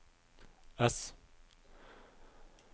ess